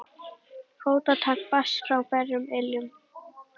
Fótatak barst frá berum iljum.